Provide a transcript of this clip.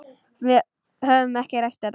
Við höfum ekki rætt þetta.